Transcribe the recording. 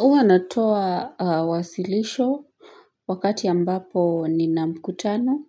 Huwa natoa wasilisho wakati ambapo nina mkutano